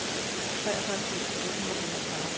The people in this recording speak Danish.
treogfyrre tusind otte hundrede og enogfyrre